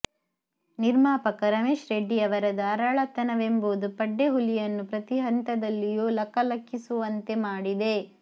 ನಿರ್ಮಾಪಕ ರಮೇಶ್ ರೆಡ್ಡಿಯವರ ಧಾರಾಳತನವೆಂಬುದು ಪಡ್ಡೆಹುಲಿಯನ್ನು ಪ್ರತೀ ಹಂತದಲ್ಲಿಯೂ ಲಕ ಲಕಿಸುವಂತೆ ಮಾಡಿದೆ